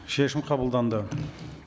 шешім қабылданды